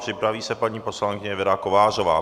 Připraví se paní poslankyně Věra Kovářová.